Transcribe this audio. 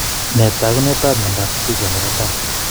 Nee taakunetaab myondap Stickler nebo 1?